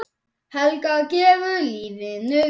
Helga: Gefur lífinu gildi?